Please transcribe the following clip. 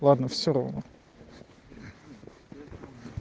ладно все равно